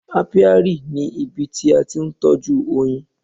Apiary ni ibi tí a ti ń tọ́jú oyin.